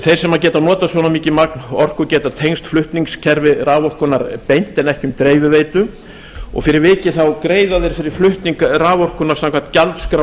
þeir sem geta notað svona mikið orku geta tengst flutningskerfi raforkunnar beint en ekki um dreifiveitu og fyrir vikið greiða þeir fyrir flutning raforkunnar samkvæmt gjaldskrá